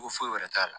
Ko foyi wɛrɛ t'a la